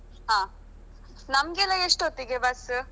ಹ ನಮ್ಗೆಲ್ಲಾ ಎಷ್ಟು ಹೊತ್ತಿಗೆ ಬಸ್?